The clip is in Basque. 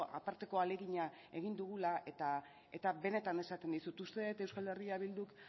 aparteko ahalegina egin dugula eta benetan esaten dizut uste dut eh bilduk